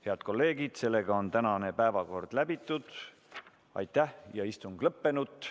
Head kolleegid, tänane päevakord on läbitud ja istung lõppenud.